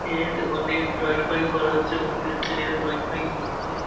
এ ওখানে ড্রয়িং ফয়িং করা হচ্ছে। ওখানে দিয়ে ছেলেরা ড্রয়িং ফয়িং করছে ।